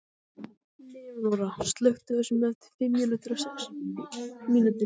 Leónóra, slökktu á þessu eftir fimmtíu og sex mínútur.